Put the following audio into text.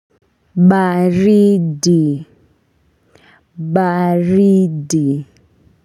Baridi baridi.